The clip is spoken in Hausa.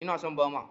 Ina son Bama.